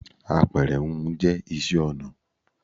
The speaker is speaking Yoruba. Àpẹrẹ húnhun jẹ́ isẹ́ ọnà